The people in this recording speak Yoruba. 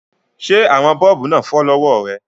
Ṣé àwọn bọ́ọ̀bù náà fọ́ lọ́wọ́ rẹ?